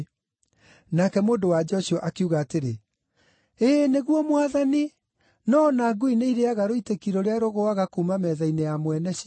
Nake mũndũ-wa-nja ũcio akiuga atĩrĩ, “Ĩĩ nĩguo Mwathani; no o na ngui nĩirĩĩaga rũitĩki rũrĩa rũgũaga kuuma metha-inĩ ya mwene cio.”